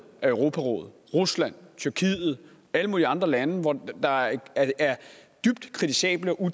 af europarådet rusland tyrkiet alle mulige andre lande hvor der er dybt kritisable og